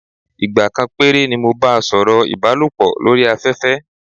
Ìgbà kan péré ni mo bá a sọ̀rọ̀ ìbálòpọ̀ lórí afẹ́fẹ́.